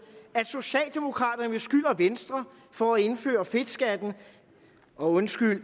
at socialdemokraterne beskylder venstre for at indføre fedtskatten og undskyld